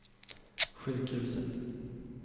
sjukhuset